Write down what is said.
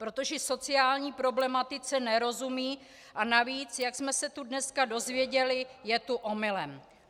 Protože sociální problematice nerozumí a navíc, jak jsme se tu dneska dozvěděli, je tu omylem.